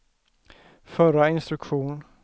förra instruktion